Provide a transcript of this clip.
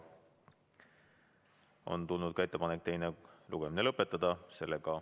On tulnud ka ettepanek teine lugemine lõpetada.